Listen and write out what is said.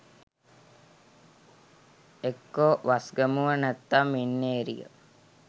එක්කො වස්ගමුව නැත්නම් මින්නේරිය